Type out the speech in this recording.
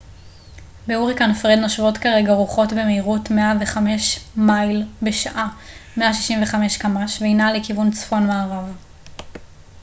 "בהוריקן פרד נושבות כרגע רוחות במהירות 105 מייל בשעה 165 קמ""ש והיא נעה לכיוון צפון-מערב.